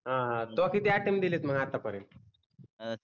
हम्म हम्म त्वा किती अटेम्प्ट दिले आहे मग आता पर्यंत